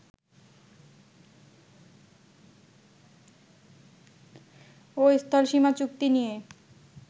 ও স্থলসীমা চুক্তি নিয়ে